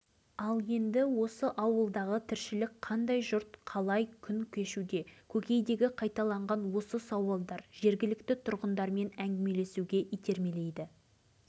бұл өлмесең өмірем қат деген сыңаймен қалай да полигонды сақтап қалғысы келетінін айғақтайды